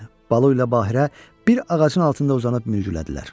Balu ilə Bahiə bir ağacın altında uzanıb mürgülədilər.